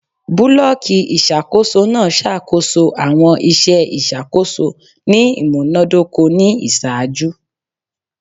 Bulọọki iṣakoso naa ṣakoso awọn iṣẹ iṣakoso ni imunadoko ni iṣaaju